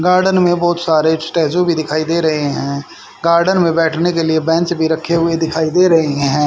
Garden में बहुत सारे स्टैचू भी दिखाई दे रहे हैं गार्डन में बैठने के लिए बेंच भी रखे हुए दिखाई दे रहे हैं।